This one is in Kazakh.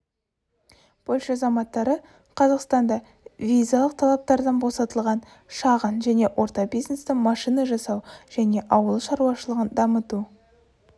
польша азаматтары қазақстанда визалық талаптардан босатылған шағын және орта бизнесті машина жасау және ауыл шаруашылығын дамыту